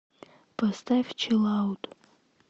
поставь чилаут